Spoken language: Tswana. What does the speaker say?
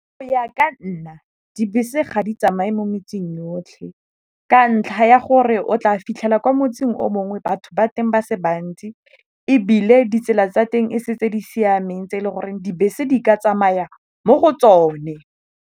Go ya ka nna dibese ga di tsamaye mo metseng yotlhe ka ntlha ya gore o tla fitlhela kwa motseng o mongwe batho ba teng ba se bantsi, ebile ditsela tsa teng e se tse di siameng tse e le goreng dibese di ka tsamaya mo go tsone.